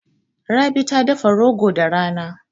Rabi ta dafa rogo da rana.